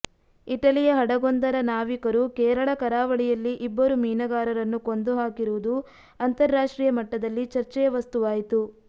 ಇಟಲಿಯ ಹಡಗೊಂದರ ನಾವಿಕರು ಕೇರಳ ಕರಾವಳಿಯಲ್ಲಿ ಇಬ್ಬರು ಮೀನುಗಾರರನ್ನು ಕೊಂದು ಹಾಕಿರುವುದು ಅಂತರ್ರಾಷ್ಟ್ರೀಯ ಮಟ್ಟದಲ್ಲಿ ಚರ್ಚೆಯ ವಸ್ತುವಾಯಿತು